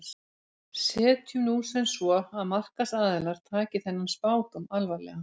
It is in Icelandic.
Setjum nú sem svo að markaðsaðilar taki þennan spádóm alvarlega.